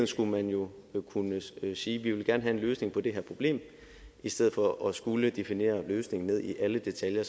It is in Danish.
skulle man jo kunne sige vi vil gerne have en løsning på det her problem i stedet for at skulle definere løsningen ned i alle detaljer